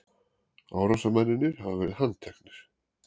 Árásarmennirnir hafa verið handteknir